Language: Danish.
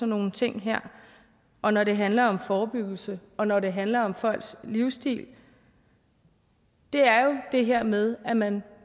nogle ting her og når det handler om forebyggelse og når det handler om folks livsstil er det her med at man